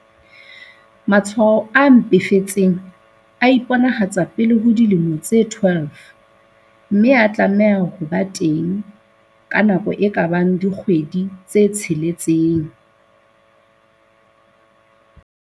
Matshwao a mpefetseng a iponahatsa pele ho dilemo tse 12 mme a tlameha ho ba teng ka nako e ka bang dikgwedi tse tsheletseng.